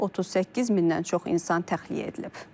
38 mindən çox insan təxliyə edilib.